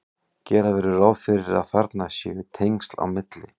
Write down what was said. gera verður ráð fyrir að þarna séu tengsl á milli